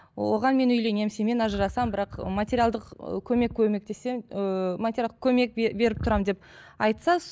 оған мен үйленемін сенімен ажырасамын бірақ материалдық ы көмек көмектесемін ыыы материалдық көмек беріп тұрамын деп айтса